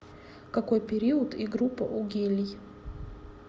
какой период и группа у гелий